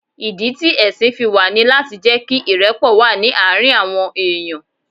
Ìdí ti ẹ̀sìn fi wà ní láti jẹ́ kí ìrẹ́pọ̀ wà ní àárín àwọn èèyàn.